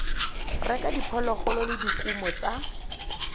reka diphologolo le dikumo tsa